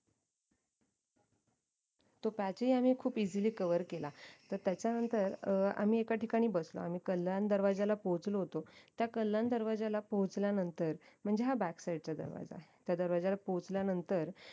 तो patch ही आम्ही खूप easily cover केला तर त्याच्यानंतर अं आम्ही एका ठिकाणी बसलो आम्ही कल्याण दरवाज्याला पोहचलो होतो त्या कल्याण दरवाज्याला पोहचल्यानंतर म्हणजे हा back side चा दरवाजा त्या दरवाजाला पोहचल्यानंतर